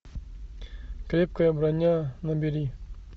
крепкая броня набери